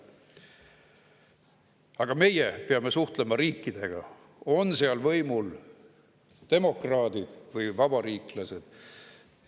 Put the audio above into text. Aga meie peame suhtlema riigiga, olgu seal võimul demokraadid või vabariiklased.